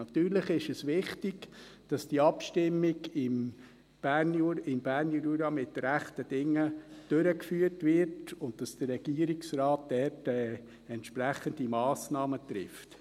Natürlich ist es wichtig, dass diese Abstimmung im Berner Jura mit rechten Dingen durchgeführt wird und dass der Regierungsrat dort entsprechende Massnahmen trifft.